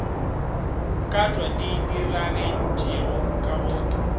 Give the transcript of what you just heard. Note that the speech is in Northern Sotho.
katwa di diragetšego ka go